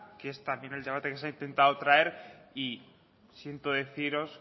que es también el debate que se ha intentado traer y siento deciros